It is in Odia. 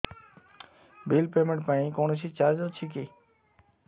ବିଲ୍ ପେମେଣ୍ଟ ପାଇଁ କୌଣସି ଚାର୍ଜ ଅଛି କି